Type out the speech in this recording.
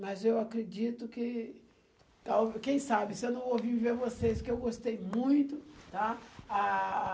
Mas eu acredito que tal... Quem sabe, se eu não vou vir ver vocês, que eu gostei muito, tá? Ah...